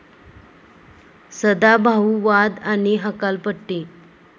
सदाभाऊ, वाद आणि हकालपट्टी